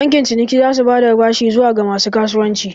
Bankin ciniki za su ba da bashi zuwa ga masu kasuwanci